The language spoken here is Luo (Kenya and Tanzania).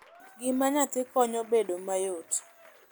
gima nyathi konyo bedo mayot